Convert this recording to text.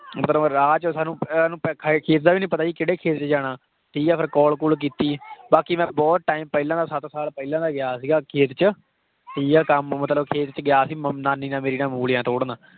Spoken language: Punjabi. ਪਰ ਰਾਹ 'ਚ ਸਾਨੂੰ ਖੇਤ ਦਾ ਵੀ ਨੀ ਪਤਾ ਸੀ ਕਿਹੜੇ ਖੇਤ 'ਚ ਜਾਣਾ ਠੀਕ ਹੈ ਫਿਰ call ਕੂਲ ਕੀਤੀ ਬਾਕੀ ਮੈਂ ਬਹੁਤ time ਪਹਿਲਾਂ ਦਾ ਸੱਤ ਸਾਲ ਪਹਿਲਾਂ ਦਾ ਗਿਆ ਸੀਗਾ ਖੇਤ 'ਚ ਠੀਕ ਹੈ ਕੰਮ ਮਤਲਬ ਖੇਤ 'ਚ ਗਿਆ ਸੀ ਮੰ~ ਨਾਨੀ ਨਾਲ ਮੇਰੀ ਨਾਲ ਮੂਲੀਆਂ ਤੋੜਨ।